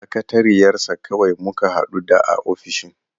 Sakatariyar sa kawai muka hadu da a ofishin.